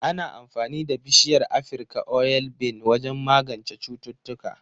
Ana amfani da bishiyar Afirka oil bean wajen magance cututtuka